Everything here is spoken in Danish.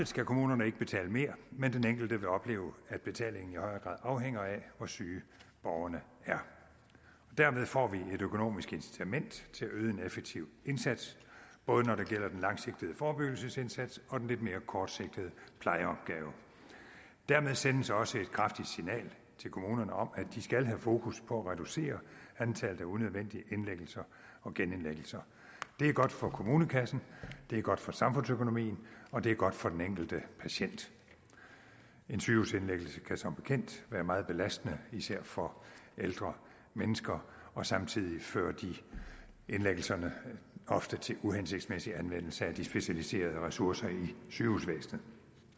skal kommunerne ikke betale mere men den enkelte kommune vil opleve at betalingen i højere grad afhænger af hvor syge borgerne er dermed får vi et økonomisk incitament til at yde en effektiv indsats både når det gælder den langsigtede forebyggelsesindsats og den lidt mere kortsigtede plejeopgave der sendes dermed også et kraftigt signal til kommunerne om at de skal have fokus på at reducere antallet af unødvendige indlæggelser og genindlæggelser det er godt for kommunekassen det er godt for samfundsøkonomien og det er godt for den enkelte patient en sygehusindlæggelse kan som bekendt være meget belastende især for ældre mennesker og samtidig fører indlæggelserne ofte til uhensigtsmæssig anvendelse af de specialiserede ressourcer i sygehusvæsenet